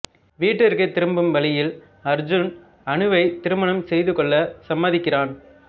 வீட்டிற்கு திரும்பும் வழியில் அர்ஜுன் அனுவை திருமணம் செய்துகொள்ள சம்மதிக்கிறான்